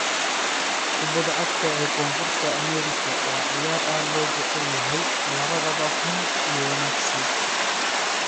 Kubadda cagta ee Koonfurta Ameerika waa ciyaar aad loo jecel yahay - labadaba xun iyo wanaagsan.